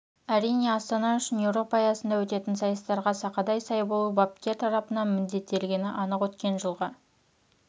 әрине астана үшін еуропа аясында өтетін сайыстарға сақадай сай болу бапкер тарапынан міндеттелгені анық өткен жылғы